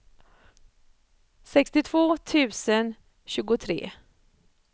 sextiotvå tusen tjugotre